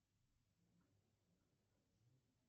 включи в сарае свет